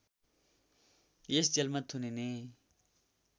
यस जेलमा थुनिने